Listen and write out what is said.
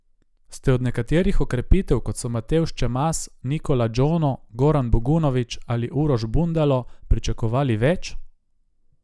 Ste od nekaterih okrepitev, kot so Matevž Čemas, Nikola Džono, Goran Bogunović ali Uroš Bundalo pričakovali več?